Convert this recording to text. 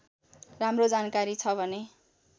राम्रो जानकारी छ भने